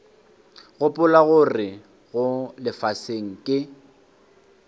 gopola gore mo lefaseng ke